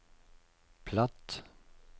platt